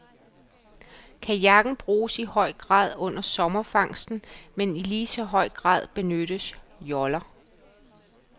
Kajakken bruges i høj grad under sommerfangsten, men i lige så høj grad benyttes joller.